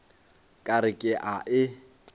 ka re ke a e